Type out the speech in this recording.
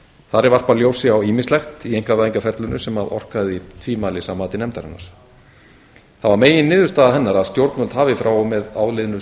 þar er varpað ljósi á ýmislegt í einkavæðingarferlinu sem orkaði tvímælis að mati nefndarinnar það var meginniðurstaða hennar að stjórnvöld hafi frá og með áliðnu